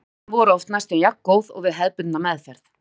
Áhrifin voru oft næstum jafngóð og við hefðbundna meðferð.